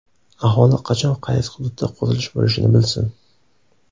Aholi qachon qaysi hududda qurilish bo‘lishini bilsin.